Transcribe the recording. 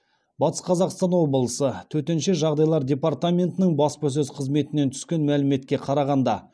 батыс қазақстан облысы төтенше жағдайлар департаментінің баспасөз қызметінен түскен мәліметке қарағанда